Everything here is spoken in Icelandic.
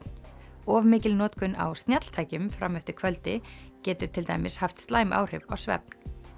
of mikil notkun á fram eftir kvöldi getur til dæmis haft slæm áhrif á svefn